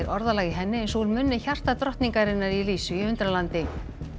orðalag í henni eins og úr munni í Lísu í Undralandi